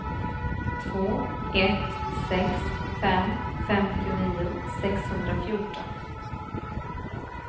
två ett sex fem femtionio sexhundrafjorton